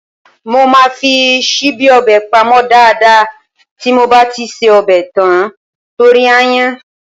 Mo máa fi ṣíbí ọbẹ̀ pamọ́ dáadáa tí mo bá ti ṣe ọbẹ̀ tán torí aáyán.